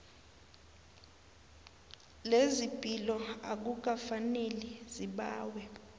lezepilo akukafaneli zibawe